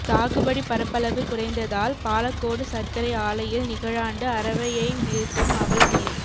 சாகுபடி பரப்பளவு குறைந்ததால் பாலக்கோடு சா்க்கரை ஆலையில் நிகழாண்டு அரவையை நிறுத்தும் அவல நிலை